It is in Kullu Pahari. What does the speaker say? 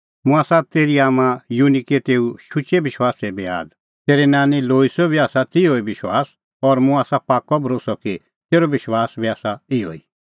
मुंह आसा तेरी आम्मां युनिके तेऊ शुचै विश्वासे बी आद तेरी नांनी लोईसो बी आसा तिहअ ई विश्वास और मुंह आसा पाक्कअ भरोस्सअ कि तेरअ विश्वास बी आसा इहअ ई